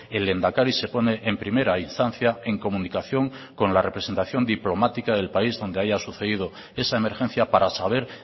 el lehendakari se pone en primera instancia en comunicación con la representación diplomática del país donde haya sucedido esa emergencia para saber